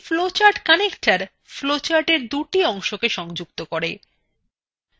একটি flowchartconnector flowchartএর দুটি অংশকে সংযুক্ত করে